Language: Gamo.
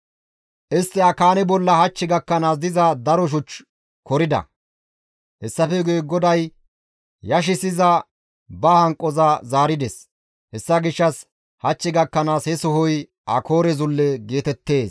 Istti Akaane bollan hach gakkanaas diza daro shuch korida. Hessafe guye GODAY yashissiza ba hanqoza zaarides; hessa gishshas hach gakkanaas he sohoy Akoore zulle geetettees.